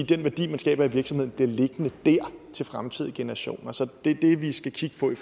den værdi man skaber i virksomheden bliver liggende der til fremtidige generationer så det er det vi skal kigge på i